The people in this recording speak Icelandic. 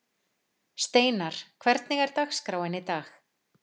Steinarr, hvernig er dagskráin í dag?